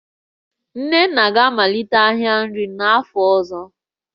Nnenna ga-amalite ahịa nri n'afọ ọzọ